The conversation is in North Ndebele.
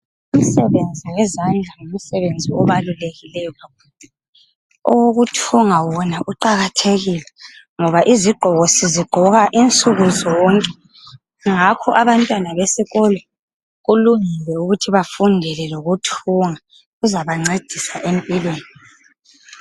Imisebenzi yezandla yimsebenzi ebalulekileyo, owokuthunga wona uqakathekile ngoba izigqoko sizigqoka insuku zonke, ngakho abantwana besikolo kulungile ukuthi bafundele lokuthunga kuzabancedisa empilweni.